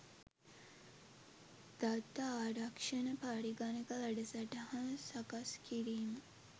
දත්ත ආරක්ෂණ පරගණක වැඩසටහන් සකස්කිරීම.